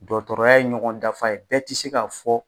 Dɔgɔtɔrɔya ye ɲɔgɔn dafa ye bɛɛ ti k'a fɔ.